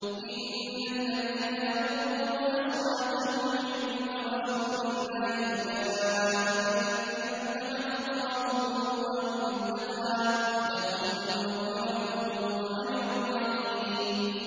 إِنَّ الَّذِينَ يَغُضُّونَ أَصْوَاتَهُمْ عِندَ رَسُولِ اللَّهِ أُولَٰئِكَ الَّذِينَ امْتَحَنَ اللَّهُ قُلُوبَهُمْ لِلتَّقْوَىٰ ۚ لَهُم مَّغْفِرَةٌ وَأَجْرٌ عَظِيمٌ